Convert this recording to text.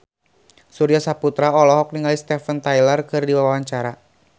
Surya Saputra olohok ningali Steven Tyler keur diwawancara